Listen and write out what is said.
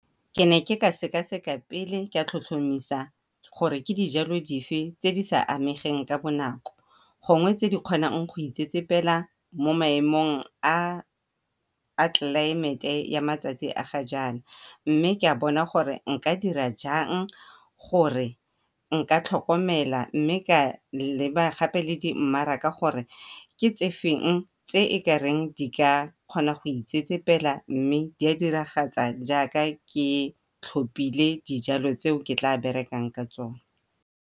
Ke ne ka sekaseka pele ka tlhotlhomisa gore ke dijalo dife tse di sa amegeng ka bonako, gongwe tse di kgonang go itsetsepela mo maemong a tlelaemete ya matsatsi a gajana. Mme ka bona gore nka dira jang gore nka tlhokomela mme ka leba gape le di mmaraka gore ke tsefeng tse e kareng di ka kgona go itsetsepela, ke tlhopile dijalo tse ke tla berekang ka tsone.